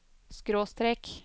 skråstrek